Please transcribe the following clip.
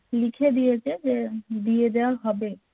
লিখে দিয়েছে যে দিয়া দেওয়া হবে